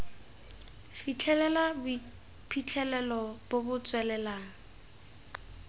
fitlhelela boiphitlhelelo bo bo tswelelang